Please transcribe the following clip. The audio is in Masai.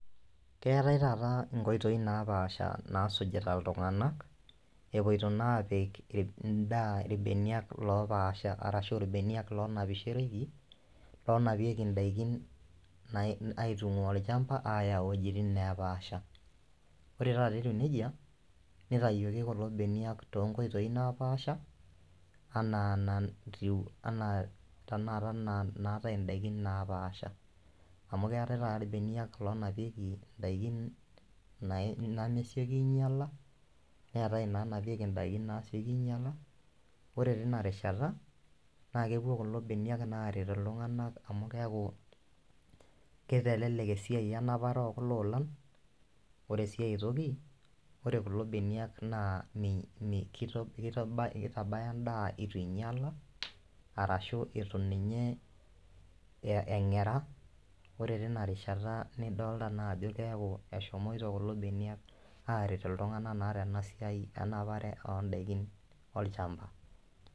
Keetae taata inkoitoi napaasha nasujita iltung'ana epuoito naa apik indaa irbeniak lopaasha arashu irbeniak lonapishereki lonapieki indaikin nai aitung'ua orchamba aaya iwuejitin nepaasha ore taata etiu nejia nitayioki kulo beniak tonkoitoi napaasha anaa natiu anaa tanaata naa naate indaikin napaasha amu keetae taata irbeniak lonapieki indaikin nai nemesioki ainyiala neetae inanapieki indaikin nasioki ainyiala ore tina rishata naa kepuo kulo beniak naa aret iltung'anak amu keaku kitelelek esiai enapare okulo olan ore sii aetoki ore kulo beniak naa mii kitabaya endaa eitu inyiala arashu itu ninye eng'era ore tina rishata nidolta naa ajo keaku eshomoito kulo beniak aaret iltung'anak naa tena siai enapare ondaikin olchamba.